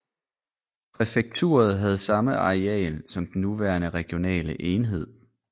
Præfekturet havde samme areal som den nuværende regionale enhed